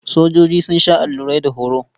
Sojoji sun sha allurai da horo.